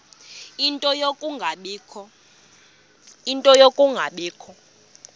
ie nto yokungabikho